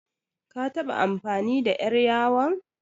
Ka taɓa amfani da ƴar yawon?